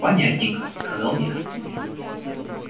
понятненько сказал я